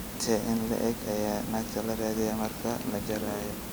intee in le'eg ayaa naagta la diraya marka la jarayo?